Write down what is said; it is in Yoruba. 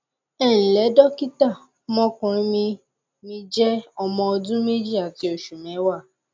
ẹ ǹlẹ dọkítà ọmọkùnrin mi mi jẹ ọmọ ọdún méjì àti oṣù mẹwàá